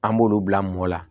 An b'olu bila mɔɔ la